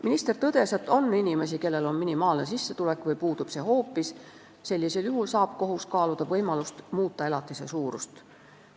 Minister tõdes, et on inimesi, kellel on minimaalne sissetulek või see hoopis puudub, ja sellisel juhul saab kohus kaaluda võimalust muuta elatise suurust.